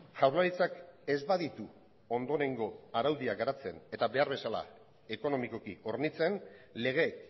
jaurlaritzak ez baditu ondorengo araudiak garatzen eta behar bezala ekonomikoki hornitzen lege